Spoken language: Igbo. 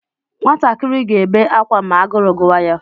Nwatakịrị ga-ebe akwa ma agụrụ gụwa ya.